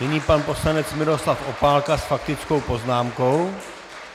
Nyní pan poslanec Miroslav Opálka s faktickou poznámkou.